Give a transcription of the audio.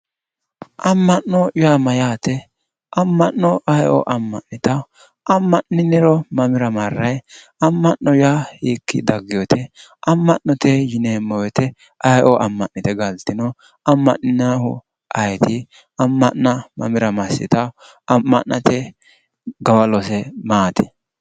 Amma'no yaa mayyaate amma'no aye'oo amma'nitawo amma'niniro mamira marrayi amma'no yaa hiikki daggewote amma'note yineemmo woyite aye'oo amma'nite galtino amma'ninayihu ayeeti amma'na mamira massitawo amma'nate gawalose maati